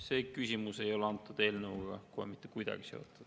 See küsimus ei ole selle eelnõuga kohe mitte kuidagi seotud.